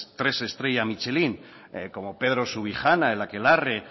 tres estrella michelín como pedro subijana con el akelarre